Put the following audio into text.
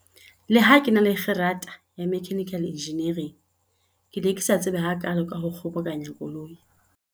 Leha ke na le kgerata ya mechanical engineering, ke ne ke sa tsebe hakaalo ka ho kgobokanya koloi.